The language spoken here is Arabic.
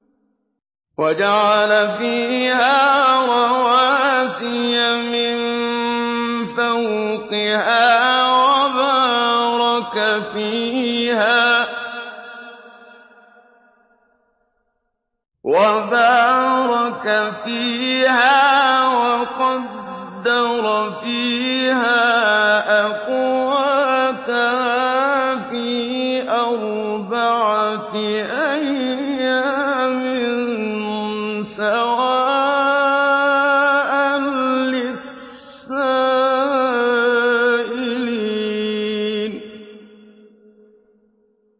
وَجَعَلَ فِيهَا رَوَاسِيَ مِن فَوْقِهَا وَبَارَكَ فِيهَا وَقَدَّرَ فِيهَا أَقْوَاتَهَا فِي أَرْبَعَةِ أَيَّامٍ سَوَاءً لِّلسَّائِلِينَ